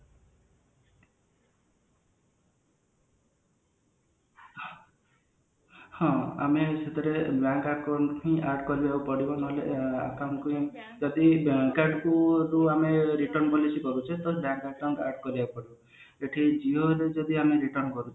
ହଁ ଆମେ ସେଥିରେ ବ୍ଯାଙ୍କ account ହିଁ add କରିଦେବାକୁ ପଡିବ ନହେଲେ account କୁ ଆମେ return policy କରୁଛେ ତ ବ୍ଯାଙ୍କ account add କରିବାକୁ ପଡିବ ଏଠି ଜିଓ ରୁ ବି ଯଦି ଆମେ return କରୁଛେ